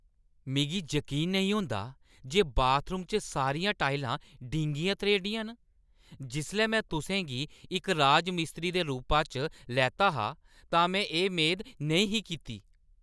मिगी जकीन नेईं होंदा जे बाथरूम च सारियां टाइलां डींगियां-त्रेह्‌ड़ियां न! जिसलै में तुसें गी इक राजमिस्त्री दे रूपा च लैता हा तां में एह् मेद नेईं ही कीती।